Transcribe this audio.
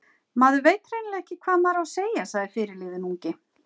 Maður veit hreinlega ekki hvað maður á að segja, sagði fyrirliðinn ungi.